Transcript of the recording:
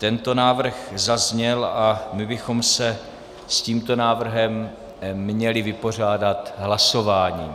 Tento návrh zazněl a my bychom se s tímto návrhem měli vypořádat hlasováním.